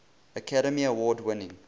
academy award winning